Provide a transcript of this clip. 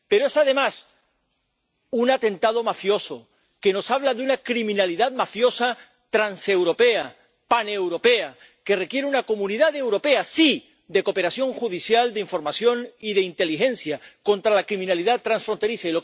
Pero es, además, un atentado mafioso, que nos habla de una delincuencia mafiosa transeuropea, paneuropea, que requiere una comunidad europea —sí— de cooperación judicial, de información y de inteligencia, contra la delincuencia transfronteriza.